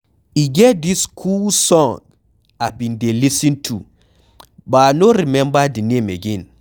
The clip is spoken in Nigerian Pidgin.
E get dis cool song I bin dey lis ten to but I no remember the name again.